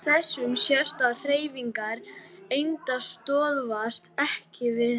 Af þessu sést að hreyfingar einda stöðvast EKKI við alkul.